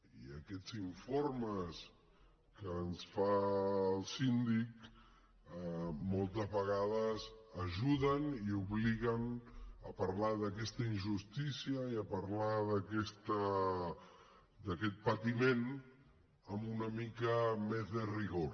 i aquests informes que ens fa el síndic moltes vegades ajuden i obliguen a parlar d’aquesta injustícia i a parlar d’aquest patiment amb una mica més de rigor